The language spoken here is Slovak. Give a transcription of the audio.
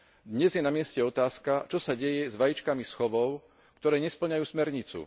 Dnes je namieste otázka, čo sa deje s vajíčkami z chovov, ktoré nespĺňajú smernicu.